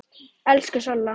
Elsku Solla.